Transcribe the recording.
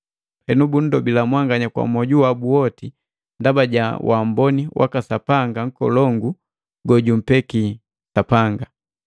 Henu bundobila mwanganya kwa mwoju wabu woti ndaba ja wamboni waka Sapanga nkolongu gojumpeki Sapanga.